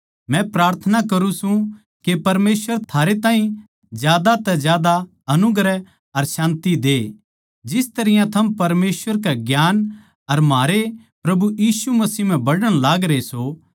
मै प्रार्थना करुँ सूं के परमेसवर थारै ताहीं ज्यादा तै ज्यादा अनुग्रह अर शान्ति दे जिस तरियां थम परमेसवर के ज्ञान अर म्हारै प्रभु यीशु मसीह म्ह बढ़ण लागरे सों